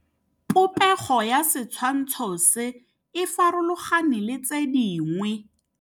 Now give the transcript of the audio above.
Popêgo ya setshwantshô se, e farologane le tse dingwe.